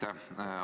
Aitäh!